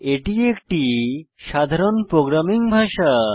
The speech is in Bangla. এটি একটি সাধারণ প্রোগ্রামিং ভাষা